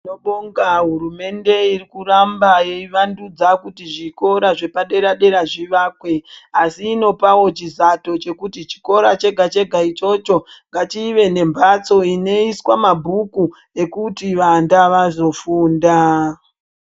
Tinobonga hurumende iri kuramba eivandudza kuti zvikora zvepadera -dera zvivakwe asi inopawo chizato chekuti chikoro chega chega ichocho ngachive nembatso dzinoiswa mabhuku ekuti vana vazofundaa.